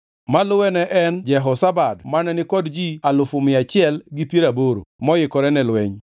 maluwe ne en Jehozabad mane ni kod ji alufu mia achiel gi piero aboro (180,000) moikore ne lweny.